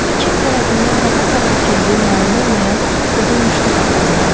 Burda kim tərəfindən və haçan əkildiyi məlum olmayan qoca muşdut ağacı vardı.